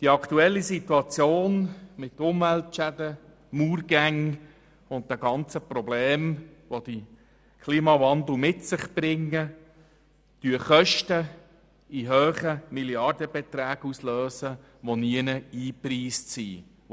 Die aktuelle Situation mit Umweltschäden, Murgängen und den ganzen Problemen, welche der Klimawandel mit sich bringt, lösen Kosten in hohen Milliardenbeträgen aus, die nirgendwo vorgesehen sind.